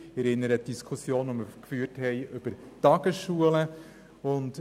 Ich erinnere an die Diskussion, die wir über Tagesschulen geführt haben.